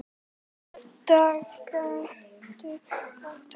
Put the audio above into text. Dag getur átt við